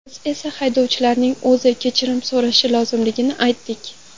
Biz esa haydovchining o‘zi kechirim so‘rashi lozimligini aytdik.